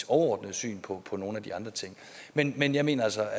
overordnede syn på nogle af de andre ting men men jeg mener altså